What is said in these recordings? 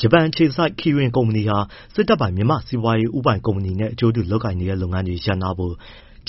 ဂျပန်အခြေစိုက် Kirin ကုမ္ပဏီဟာ စစ်တပ်ပိုင် မြန်မာ့စီးပွားရေး ဦးပိုင်ကုမ္ပဏီနဲ့ အကျိုးတူလုပ်နေတဲ့လုပ်ငန်းတွေ ရပ်နားဖို့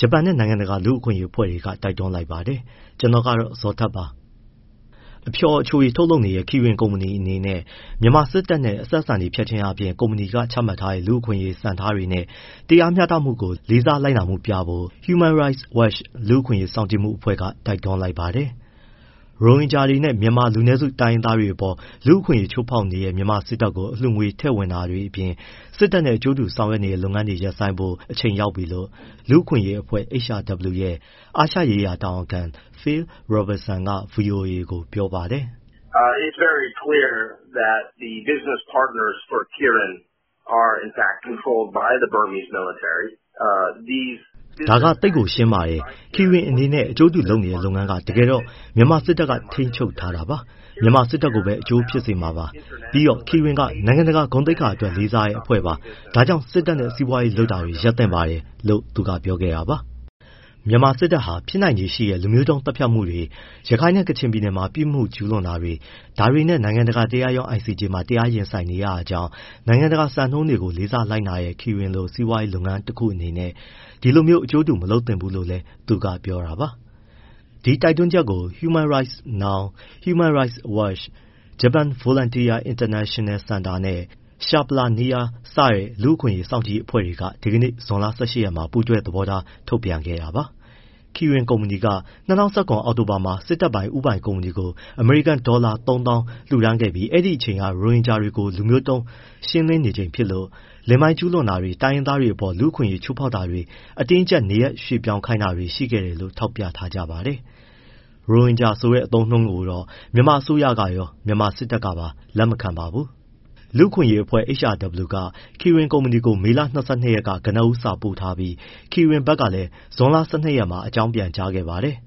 ဂျပန်နဲ့ နိုင်ငံတကာလူ့အခွင့်အရေးအဖွဲ့တွေ တိုက်တွန်းလိုက်ပါတယ်။ ဒီအကြောင်း ဗွီအိုအေမြန်မာပိုင်းသတင်းထောက် ကိုဇော်ထက် စုံစမ်းမေးမြန်းထားပါတယ်။ အဖျော်၊ အချိုရည်ထုတ်လုပ်နေတဲ့ Kirin ကုမ္ပဏီအနေနဲ့ မြန်မာစစ်တပ်နဲ့ အဆက်အဆံတွေဖြတ်ချင်းအားဖြင့် ကုမ္ပဏီက ချမှတ်ထားတဲ့ လူ့အခွင့်အရေးစံနှုန်း၊ စံထားတွေနဲ့ တရားမျှတမှုကို လေးစားလိုက်နာမှုပြဖို့ Human Rights Watch လူ့အခွင့်အရေးစောင့်ကြည့်မှုအဖွဲ့က တိုက်တွန်းပါတယ်။ ရိုဟင်ဂျာတွေနဲ့ မြန်မာ လူနည်းစုတိုင်းရင်းသားတွေအပေါ် လူ့အခွင့်အရေး ချိုးဖောက်နေတဲ့ မြန်မာစစ်တပ်ကို အလှုငွေထည့်ဝင်တာတွေအပြင်၊ စစ်တပ်နဲ့အကျိုးတူဆောင်ရွက်နေတဲ့ လုပ်ငန်းတွေကို ရပ်ဆိုင်းဖို့ အချိန်ရောက်ပြီလို့ လူ့အခွင့်အရေးအဖွဲ့ HRW ရဲ့ အာရှရေးရာ တာဝန်ခံ Phil Robertson က VOA ကို ပြောပါတယ်။ “ဒါက သိပ်ကို ရှင်းပါတယ်၊ Kirin နဲ့ အကျိုးတူလုပ်နေတဲ့လုပ်ငန်းက တကယ်တော့ မြန်မာစစ်တပ်က ထိန်းချုပ်ထားတာပါ။ မြန်မာစစ်တပ်ကိုပဲ အကျိုးဖြစ်စေမှာပါ။ ပြီးတော့ Kirin က နိုင်ငံတကာ ဂုဏ်သိက္ခာအတွက် လေးစားတဲ့အဖွဲ့ပါ။ ဒါကြောင့် စစ်တပ်နဲ့ စီးပွားရေးလုပ်တာ ရပ်သင့်ပါတယ်။” မြန်မာစစ်တပ်ဟာ ဖြစ်နိုင်ခြေရှိတဲ့ လူမျိုးတုံး သတ်ဖြတ်မှုတွေ၊ ရခိုင်နဲ့ ကချင်ပြည်နယ်မှာ ပြစ်မှုတွေ ကျူးလွန်မှုတွေ ဒါတွေနဲ့ နိုင်ငံတကာတရားရုံး ICJ မှာ တရားရင်ဆိုင်နေရတာကြောင့်၊ နိုင်ငံတကာ စံနှုန်းတွေကို လေးစားလိုက်နာတဲ့ Kirin လို စီးပွားရေးလုပ်ငန်း တခုအနေနဲ့ ဒီလိုမျိုးအကျိုးတူ မလုပ်သင့်ဘူးလို့လည်း သူကပြောတာပါ။ ဒီတိုက်တွန်းချက်ကို Human Rights Now, Human Rights Watch, Japan Volunteer International Center နဲ့ Shapla Neer စတဲ့ လူ့အခွင့်အရေး စောင့်ကြည့်တဲ့ အဖွဲ့တွေက ဒီကနေ့ဇွန်လ ၁၈ ရက်မှာ ပူးတွဲသဘောထား ထုတ်ပြန်ခဲ့တာပါ။ Kirin ကုမ္ပဏီက ၂၀၁၇ အောက်တိုဘာမှာ စစ်တပ်ပိုင် ဦးပိုင်ကုမ္ပဏီကို အမေရိကန်ဒေါ်လာ ၃၀,၀၀၀ လှူဒါန်းခဲ့ပြီး အဲဒီအချိန်က ရိုဟင်ဂျာတွေကို လူမျိုးသုန်း ရှင်းလင်းနေချိန်ဖြစ်သလို လိင်ပိုင်းကျူးလွန်တာတွေ၊ တိုင်းရင်းသားတွေအပေါ် လူ့အခွင့်အရေးချိုးဖောက်တာတွေ၊ အတင်းအကျပ် နေရာရွှေ့ပြောင်းခိုင်းတာတွေ ရှိခဲ့တယ်လို့ ထောက်ပြထားကြပါတယ်။ ရိုဟင်ဂျာဆိုတဲ့အသုံးအနှုန်းကိုတော့ မြန်မာအစိုးရရော၊ မြန်မာစစ်တပ်ကပါ လက်မခံပါဘူး။ လူ့အခွင့်အရေးအဖွဲ့ HRW က Kirin ကုမ္ပဏီကို မေလ ၂၂ ရက်က ကနဦး စာပေးပို့ထားပြီး Kirin ဘက်ကလည်း ဇွန်လ ၁၂ ရက်မှာ ပြန်အကြောင်းကြားခဲ့ပါတယ်။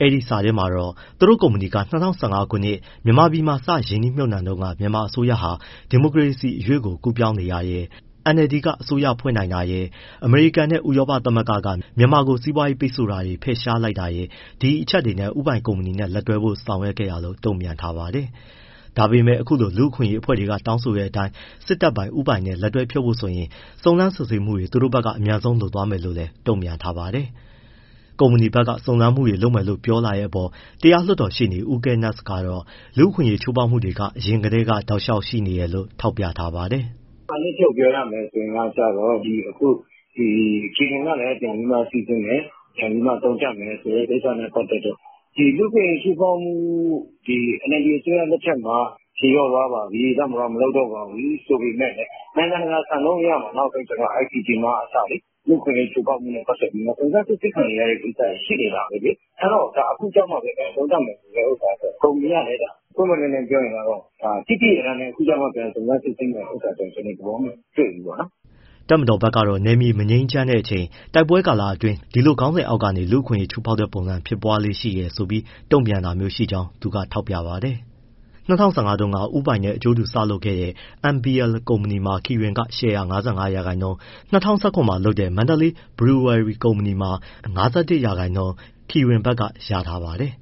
အဲဒီစာထဲမှာတော့ သူတို့ကုမ္ပဏီက ၂၀၁၅ ခုနှစ် မြန်မာပြည်မှာ စရင်းနှီးမြှုပ်နှံတုန်းက မြန်မာအစိုးရဟာ ဒီမိုကရေစီအရွေ့ကို ကူးပြောင်းနေတာရယ်၊ NLD က အစိုးရဖွဲ့နိုင်တာရယ်၊ အမေရိကန်နဲ့ ဥရောပသမဂ္ဂက မြန်မာကို စီးပွားရေးပိတ်ဆို့တာတွေ ဖယ်ရှားလိုက်တာရယ် ဒီအချက်တွေနဲ့ ဦးပိုင်ကုမ္ပဏီနဲ့လက်တွဲဖို့ ဆုံးဖြတ်ခဲ့တာလို့ တုံ့ပြန်ထားပါတယ်။ ဒါပေမဲ့ အခုလို လူ့အခွင့်အရေးအဖွဲ့တွေက တောင်းဆိုတဲ့အတိုင်း စစ်တပ်ပိုင် ဦးပိုင်ကုမ္ပဏီနဲ့ လက်တွဲဖြုတ်ဖို့ဆိုရင် စုံစမ်းစစ်ဆေးမှုတွေ သူတို့ဘက်က အမြန်ဆုံး လုပ်သွားမယ်လို့လည်း တုံ့ပြန်ထားပါတယ်။ ကုမ္ပဏီဘက်က စုံစမ်းမှုတွေ လုပ်မယ်လို့ပြောတဲ့အပေါ်မှာ တရားလွှတ်တော်ရှေ့နေ ဦးဂဲနက်စ် ကတော့ လူ့အခွင့်အရေး ချိုးဖောက်မှုတွေက အရင်ကတည်းက တောက်လျှောက်ရှိနေတယ်လို့ ထောက်ပြပါတယ်။ “အနှစ်ချုပ်ပြောရမယ်ဆိုရင် အခု Kirin ကလည်းပြန်ပြီး စိစစ်မယ် ပြန်ပြီး သုံးသပ်မယ်ဆိုတဲ့ ကိစ္စနဲ့ ပတ်သက်လို့ လူ့အခွင့်အရေး ချိုးဖောက်မှု NLD အစိုးရလက်ထက်မှာ ဖြေလျော့သွားပါပြီ၊ တပ်မတော်က မလုပ်တော့ပါဘူး ဆိုပေမဲ့လည်း နိုင်ငံတကာစံနှုန်းအရမှာ နောက်ပိုင်း ICJ မှအစလေ လူ့အခွင့်အရေး ချိုးဖောက်မှုနဲ့ ပတ်သက်ပြီး စုံစမ်းစစ်ဆေးခံနေရတာ ရှိနေတာပဲလေ။ အဲဒီတော့ အခုကျမှပဲ ပြန်သုံးသပ်မယ်ဆိုတဲ့ ဟာကတော့ ကုမ္ပဏီကလည်းဒါ ပွင့်ပွင့်လင်းလင်းပြောရင်တော့ သိသိလျက်သားနဲ့ အခုမှ ပြန်စုံစမ်းမယ်ဆိုတာ ကျနော်တော့ သဘောမတွေ့ဘူးပေါ့နော်။” တပ်မတော်ဘက်ကတော့ နယ်မြေမငြိမ်းချမ်းတဲ့အချိန်၊ တိုက်ပွဲကာလအတွင်း ဒီလိုခေါင်းစဉ်အောက်ကနေ လူ့အခွင့်အရေး ချိုးဖောက်တဲ့ပုံစံ ဖြစ်ပွားလေ့ရှိတယ်ဆိုပြီး တုံ့ပြန်တာမျိုးရှိကြောင်း သူကထောက်ပြပါတယ်။ ၂၀၁၅ တုန်းက ဦးပိုင်နဲ့ အကျိုးတူစလုပ်ခဲ့တဲ့ MBL ကုမ္ပဏီမှာ Kirin က ရှယ်ယာ ၅၅ ရာခိုင်နှုန်း၊ ၂၀၁၇ မှာ လုပ်တဲ့ Mandalay Brewery ကုမ္ပဏီမှာ ၅၁ ရာခိုင်နှုန်း Kirin ဘက်ကရထားပါတယ်